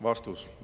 " Vastus.